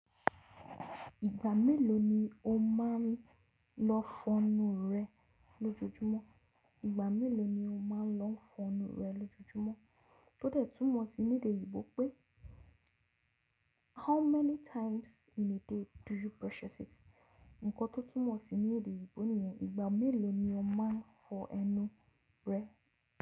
Ìgbà mélòó ni o máa n lọ fọnu rẹ lójoójúmọ́? Ìgbà mélòó ni o máa n lọ fọnu rẹ lójoójúmọ́? Tódẹ̀ tún mọ̀ sí ní èdè oyinbò pé how many times in a day do you brush your teeth? Nǹkan tó tuń mọ̀ sí ní èdè oyinbò níyẹn ìgbà mélòó ni o máa n fọ ẹnu rẹ.